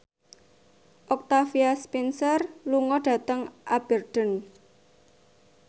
Octavia Spencer lunga dhateng Aberdeen